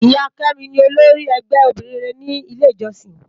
Iya Kemi ni ólórì ègbè óbìrín réré ni ilé ijòsín wá